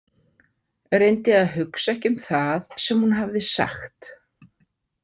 Reyndi að hugsa ekki um það sem hún hafði sagt.